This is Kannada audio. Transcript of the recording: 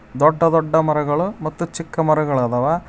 ದೊಡ್ಡ ದೊಡ್ಡ ಮರಗಳು ಮತ್ತು ಚಿಕ್ಕಮರಗಳದವ.